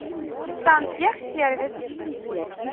сантехсервис